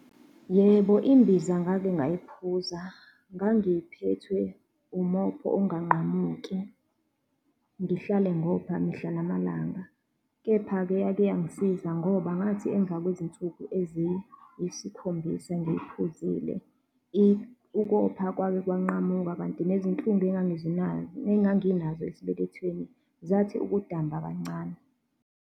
Yebo, imbiza ngake ngayiphuza. Ngangiphethwe umopho unganqamuki, ngihlale ngopha mihla namalanga. Kepha-ke yake yangisiza ngoba ngathi emva kwezinsuku eziyisikhombisa ngiyiphuzile ukopha kwake kwanqamuka, kanti nezinhlungu engangizinazo nenganginazo esibelethweni, zathi ukudamba kancane.